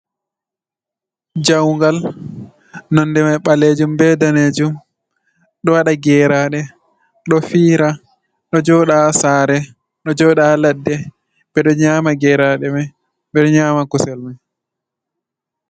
Jawungal nonde mai ɓalejum be danejum ɗo waɗa geraɗe ɗo fiira ɗo joɗa ha sare, ɗo joɗa ha ladde, ɓe ɗo nyama gerade mai ɓe ɗo nyama kusel man.